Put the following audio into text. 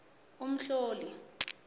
umhloli